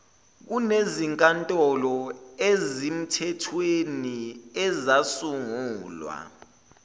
kunezinkantolo ezimthethweni ezasungulwa